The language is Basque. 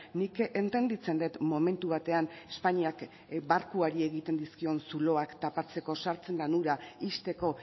nik entenditzen dut momentu batean espainiak barkuari egiten dizkion zuloak tapatzeko sartzen den ura ixteko